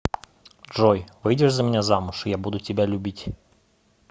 джой выйдешь за меня замуж я буду тебя любить